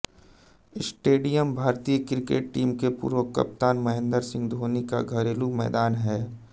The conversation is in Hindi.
स्टेडियम भारतीय क्रिकेट टीम के पूर्व कप्तान महेंद्र सिंह धोनी का घरेलू मैदान है